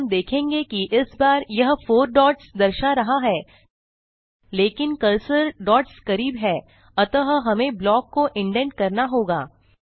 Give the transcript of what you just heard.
और हम देखेंगे कि इस बार यह फोर डॉट्स दर्शा रहा है लेकिन कर्सर डॉट्स करीब है अतः हमें ब्लॉक को इंडेंट करना होगा